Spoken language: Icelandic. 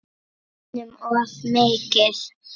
Einum of mikið.